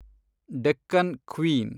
Deccan queen